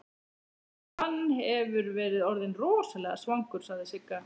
Hann hefur verið orðinn rosalega svangur, sagði Sigga.